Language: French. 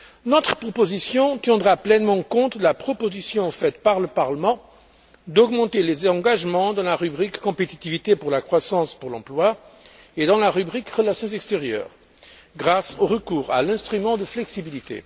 Notre proposition tiendra pleinement compte de la proposition faite par le Parlement d'augmenter les engagements dans la rubrique Compétitivité pour la croissance et pour l'emploi et dans la rubrique Relations extérieures, grâce au recours à l'instrument de flexibilité.